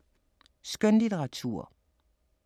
Skønlitteratur